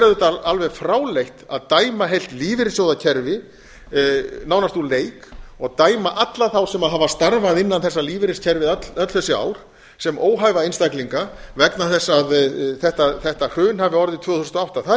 auðvitað alveg fráleitt að dæma heilt lífeyrissjóðakerfi nánast úr leik og dæma alla þá sem hafa starfað innan þessa lífeyriskerfis öll þessi ár sem óhæfa einstaklinga vegna þess að þetta hrun hafi orðið tvö þúsund og átta það